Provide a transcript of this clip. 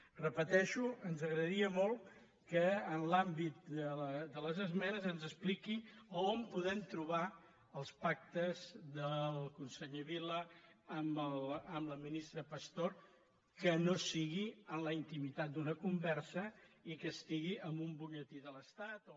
ho repeteixo ens agradaria molt que en l’àmbit de les esmenes ens expliqui on podem trobar els pactes del conseller vila amb la ministra pastor que no sigui en la intimitat d’una conversa i que estigui en un butlletí de l’estat o